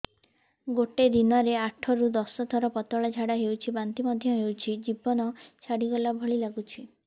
ଗୋଟେ ଦିନରେ ଆଠ ରୁ ଦଶ ଥର ପତଳା ଝାଡା ହେଉଛି ବାନ୍ତି ମଧ୍ୟ ହେଉଛି ଜୀବନ ଛାଡିଗଲା ଭଳି ଲଗୁଛି